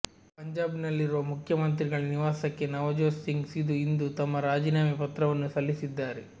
ಪಂಜಾಬ್ ನಲ್ಲಿರುವ ಮುಖ್ಯಮಂತ್ರಿಗಳ ನಿವಾಸಕ್ಕೆ ನವಜೋತ್ ಸಿಂಗ್ ಸಿಧು ಇಂದು ತಮ್ಮ ರಾಜೀನಾಮೆ ಪತ್ರವನ್ನು ಸಲ್ಲಿಸಿದ್ದಾರೆ